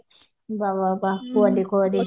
ବା ବା ବା କୁହନି କୁହନି